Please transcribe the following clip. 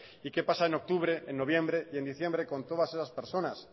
y que pasa en octubre en noviembre en diciembre con todas esas personas